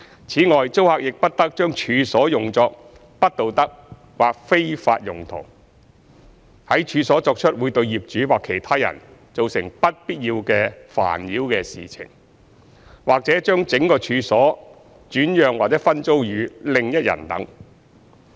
此外，租客亦不得將處所用作不道德或非法用途、在處所作出會對業主或其他人造成不必要的煩擾的事情，或將整個處所轉讓或分租予另一人等。